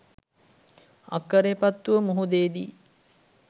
අක්ක‍රේපත්තුව මුහුදේ දී